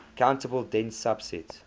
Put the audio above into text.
countable dense subset